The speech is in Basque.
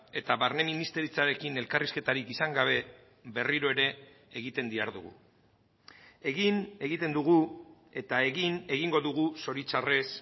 eta barne ministeritzarekin elkarrizketarik izan gabe berriro ere egiten dihardugu egin egiten dugu eta egin egingo dugu zoritxarrez